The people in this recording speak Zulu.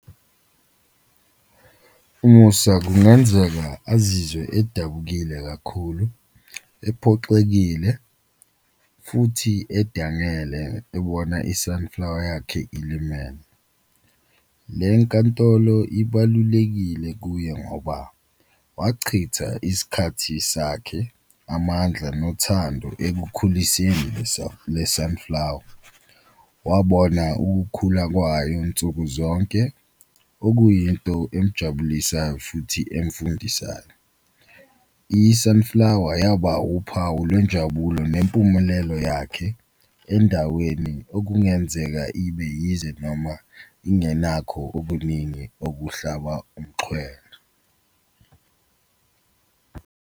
UMusa kungenzeka azizwe edabukile kakhulu, ephoxekile futhi adangele ebona i-sunflower yakhe ilimele. Le nkantolo ibalulekile kuye ngoba wachitha isikhathi sakhe amandla nothando ekukhuliseni le le-sunflower, wabona ukukhula kwayo nsuku zonke okuyinto emjabulisayo futhi emfundisayo. I-sunflower yaba uphawu lwenjabulo nempumulelo yakhe endaweni okungenzeka ibe yize noma ingenakho obuningi obuhlaba umxhwele.